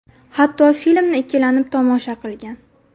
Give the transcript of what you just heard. Hatto filmni ikkilanib tomosha qilgan.